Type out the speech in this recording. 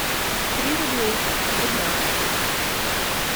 три рублей в рублях